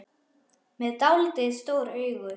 Með dáldið stór augu.